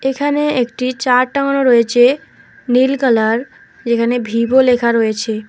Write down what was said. এখানে একটি চার্ট টাঙ্গানো রয়েছে নীল কালার যেখানে ভিভো লেখা রয়েছে।